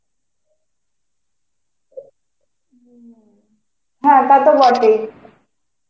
হ্যাঁ তা তো বটেই.